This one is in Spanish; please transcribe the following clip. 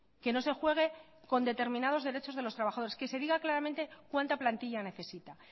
que no se juegue con determinados derechos de los trabajadores que se diga claramente cuánta plantilla necesita